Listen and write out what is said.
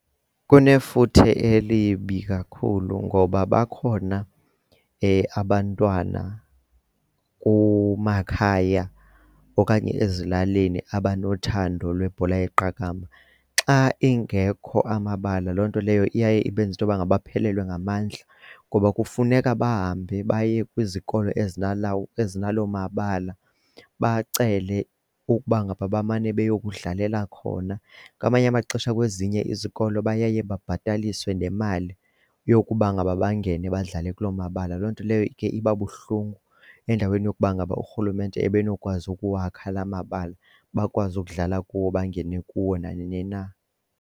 Kunefuthe elibi kakhulu ngoba bakhona abantwana kumakhaya okanye ezilalini abanothando lwebhola yeqakamba. Xa engekho amabala loo nto leyo iye ibenze intoba ngaba aphelelwe ngamandla ngoba kufuneka bahambe baye kwizikolo ezinalo mabala bacele ukuba ngaba bamane bayokudlalela khona. Ngamanye amaxesha kwezinye izikolo baye babhataliswe nemali yokuba ngaba bangene badlale kulo mabala loo nto leyo ke iba buhlungu endaweni yokuba ngaba urhulumente ebenokwazi ukuwakha la mabala bakwazi ukudlala kuwo bangene kuwo nanini na.